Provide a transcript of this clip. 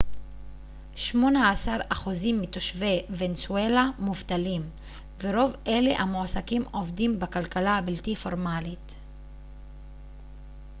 שמונה עשר אחוזים מתושבי ונצואלה מובטלים ורוב אלה המועסקים עובדים בכלכלה הבלתי פורמלית